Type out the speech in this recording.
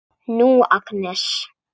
Nú, Agnes.